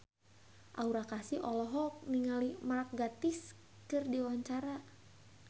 Aura Kasih olohok ningali Mark Gatiss keur diwawancara